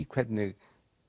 hvernig